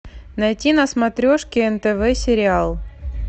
найти на смотрешке нтв сериал